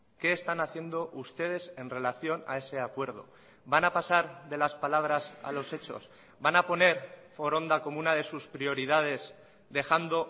qué están haciendo ustedes en relación a ese acuerdo van a pasar de las palabras a los hechos van a poner foronda como una de sus prioridades dejando